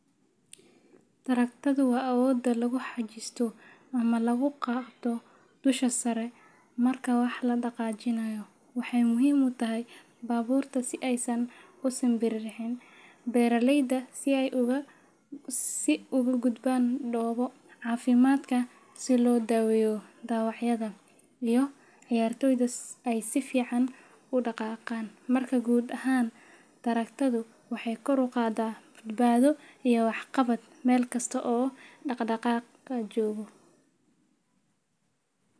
Taraagtadu waa awoodda lagu xajisto ama lagu qabto dusha sare marka wax la dhaqaajinayo. Waxay muhiim u tahay baabuurta si aysan u simbiriirin, beeraleyda si ay uga gudbaan dhoobo, caafimaadka si loo daaweeyo dhaawacyada, iyo ciyaartoyda si ay si fiican u dhaqaaqaan. Marka guud ahaan, taraagtadu waxay kor u qaaddaa badbaado iyo waxqabad meel kasta oo dhaqdhaqaaq jiro.